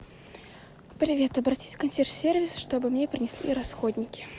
привет обратись в консьерж сервис чтобы мне принесли расходники